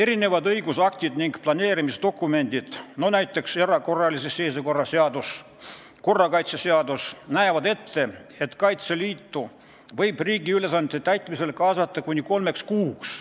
Mitmed õigusaktid ning planeerimisdokumendid, näiteks erakorralise seisukorra seadus ja korrakaitseseadus, näevad ette, et Kaitseliitu võib riigi ülesannete täitmisesse kaasata kuni kolmeks kuuks.